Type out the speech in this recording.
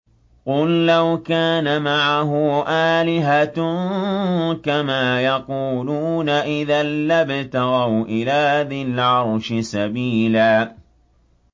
قُل لَّوْ كَانَ مَعَهُ آلِهَةٌ كَمَا يَقُولُونَ إِذًا لَّابْتَغَوْا إِلَىٰ ذِي الْعَرْشِ سَبِيلًا